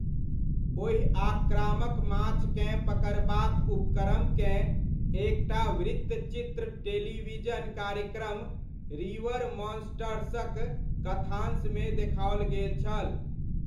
ओहि आक्रामक माछकेँ पकड़बाक उपक्रमकेँ एक टा वृत्तचित्र टेलीविजन कार्यक्रम रिवर मॉन्स्टर्सक कथांशमे देखाओल गेल छल।